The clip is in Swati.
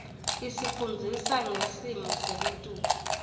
isifundzisa ngesmo selitulu